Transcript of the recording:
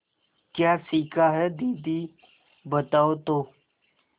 क्या सीखा है दीदी बताओ तो